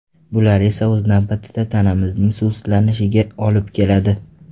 Bular esa o‘z navbatida tanamizning suvsizlanishiga olib keladi.